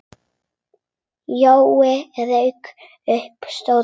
Jói rak upp stór augu.